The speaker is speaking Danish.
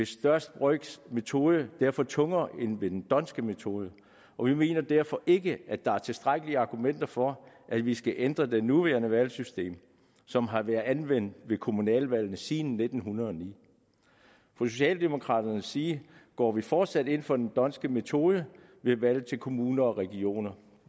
største brøks metode derfor tungere end ved den d’hondtske metode og vi mener derfor ikke at der er tilstrækkelige argumenter for at vi skal ændre det nuværende valgsystem som har været anvendt ved kommunalvalgene siden nitten hundrede og ni fra socialdemokraternes side går vi fortsat ind for den d’hondtske metode ved valg til kommuner og regioner